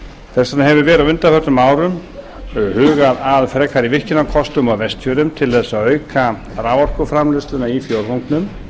þess vegna hefur verið á undanförnum árum hugað að frekari virkjunarkostum á vestfjörðum til að auka raforkuframleiðsluna í fjórðungnum og